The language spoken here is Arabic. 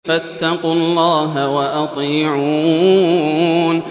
فَاتَّقُوا اللَّهَ وَأَطِيعُونِ